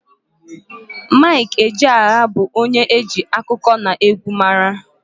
Mike Ejeagha bụ onye e ji akụkọnaegwu mara.